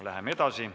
Läheme edasi.